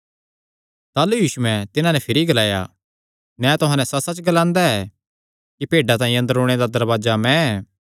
ताह़लू यीशुयैं तिन्हां नैं भिरी ग्लाया मैं तुहां नैं सच्चसच्च ग्लांदा ऐ कि भेड्डां तांई अंदर ओणे दा दरवाजा मैं ऐ